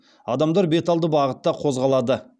адамдар беталды бағытта қозғалады